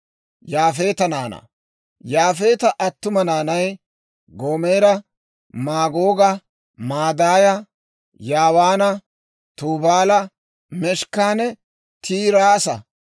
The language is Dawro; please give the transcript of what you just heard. Yaafeeta attuma naanay: Goomera, Maagooga, Maadaaya, Yaawaana, Tubaala, Meshekanne Tiiraasa.